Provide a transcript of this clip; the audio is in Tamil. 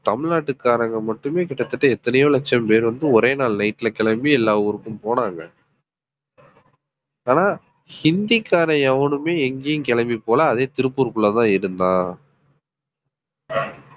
தமிழ்நாட்டுக்காரங்க மட்டுமே கிட்டத்தட்ட எத்தனையோ லட்சம் பேர் வந்து ஒரே நாள் nightல கிளம்பி எல்லா ஊருக்கும் போனாங்க ஆனா ஹிந்திக்காரன் எவனுமே எங்கயும் கிளம்பி போகலை அதே திருப்பூர்க்குள்ளதான் இருந்தான்